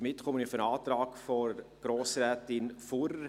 Damit komme ich zum Antrag von Grossrätin Fuhrer.